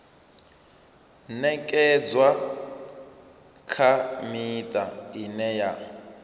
ṅekedzwa kha miṱa ine ya